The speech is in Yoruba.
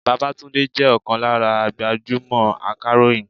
Babátúndé jẹ́ ọ̀kan lára gbajúmò akàròyìn.